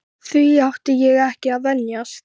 Því átti ég ekki að venjast.